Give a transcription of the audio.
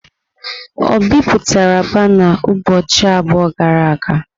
O bipụtara bana ụbọchị abụọ gara aga?